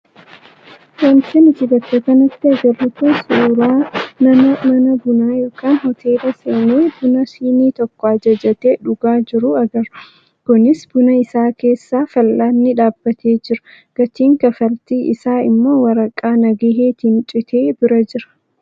Wanti nuti bakka kanatti agarru kun suuraa nama mana bunaa yookaan hoteelaa seenee buna siinii tokko ajajatee dhugaa jiruu agarra. Kunis buna isaa keessa fal'aanni dhaabbatee jira. Gatiin kaffaltii isaa immoo waraqaa nagaheetiin citee bira jira.